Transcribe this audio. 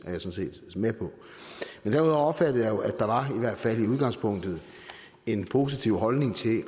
med på men derudover opfattede jeg jo at der var en i hvert fald i udgangspunktet positiv holdning til